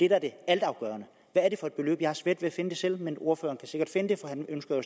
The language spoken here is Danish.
er det altafgørende hvad er det for et beløb jeg har svært ved at finde det selv men ordføreren kan sikkert finde det for han ønsker